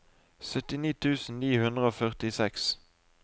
syttini tusen ni hundre og førtiseks